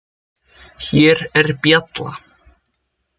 Hér er bjalla.